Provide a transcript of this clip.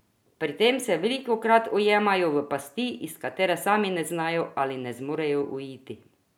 Pri tem se velikokrat ujamejo v pasti, iz katerih sami ne znajo ali ne zmorejo uiti.